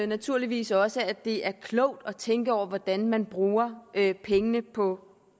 naturligvis også at det er klogt at tænke over hvordan man bruger pengene på